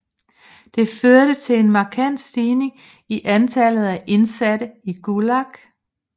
Det førte til en markant stigning i antallet af indsatte i Gulag